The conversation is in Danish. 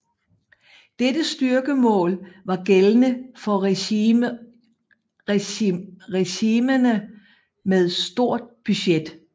Dette styrkemål var gældende for regimenter med stort budget